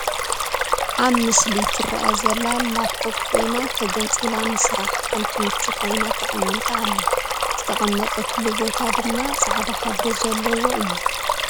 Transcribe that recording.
አብ ምስሊ ትረአ ዘላ ላፕቶም ኮይና ተገንፂላ ንስራሕ ከም ትምቹ ኮይና ተቀሚጣ አላ፡፡ ዝተቀመጠትሉ ቦታ ድማ ፃዕዳ ሕብሪ ዘለዎ እዩ፡፡